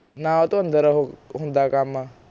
ਨਾ ਓਹਤੋਂ ਉਹ ਅੰਦਰ ਹੁੰਦਾ ਕੰਮ